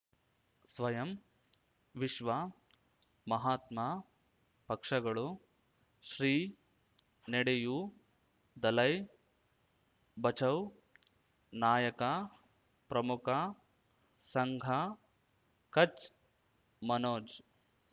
ಸ್ವಯಂ ವಿಶ್ವ ಮಹಾತ್ಮ ಪಕ್ಷಗಳು ಶ್ರೀ ನೆಡೆಯೂ ದಲೈ ಬಚೌ ನಾಯಕ ಪ್ರಮುಖ ಸಂಘ ಕಚ್ ಮನೋಜ್